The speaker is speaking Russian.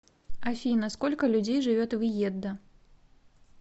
афина сколько людей живет в иеддо